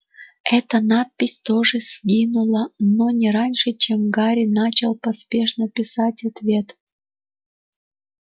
эта надпись тоже сгинула но не раньше чем гарри начал поспешно писать ответ